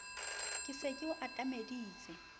ke se ke o atameditse